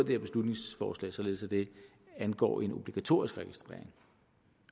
her beslutningsforslag således at det angår en obligatorisk registrering